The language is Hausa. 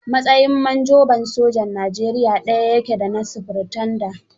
Matsayin manjoba sojan Nigeria daya ya ce da na sufirtanda.